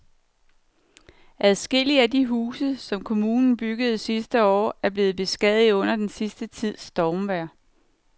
Adskillige af de huse, som kommunen byggede sidste år, er blevet beskadiget under den sidste tids stormvejr.